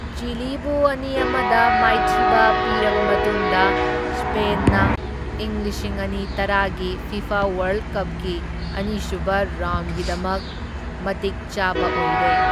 ꯆꯤꯂꯤꯕꯨ ꯑꯅꯤ ꯑꯃꯗ ꯃꯥꯏꯊꯤꯕ ꯄꯤꯔꯕ ꯃꯇꯨꯡꯗ ꯁ꯭ꯄꯦꯟꯅ ꯏꯪ ꯂꯤꯁꯤꯡ ꯑꯅꯤ ꯇꯔꯥꯒꯤ ꯐꯤꯐꯥ ꯋꯥꯔꯜꯗ ꯀꯞꯀꯤ ꯑꯅꯤꯁꯨꯕ ꯔꯥꯎꯟꯗꯒꯤꯗꯃꯛ ꯃꯇꯤꯛ ꯆꯥꯕ ꯑꯣꯏꯔꯦ꯫